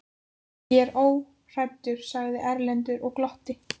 Ég er óhræddur, sagði Erlendur og glotti.